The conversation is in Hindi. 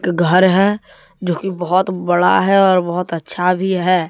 एक घर है जो की बहोत बड़ा है और बहोत अच्छा भी है।